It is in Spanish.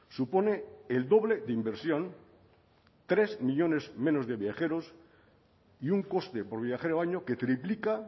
supone el doble de inversión tres millónes menos de viajeros y un coste por viajero año que triplica